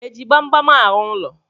Eji gbamgbam arụ ụlọ?